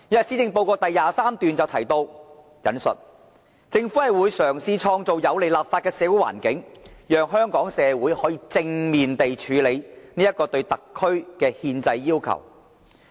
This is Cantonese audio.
施政報告第23段提到：[政府會]"嘗試創造有利立法的社會環境，讓香港社會可以正面地處理這個對特區的憲制要求"。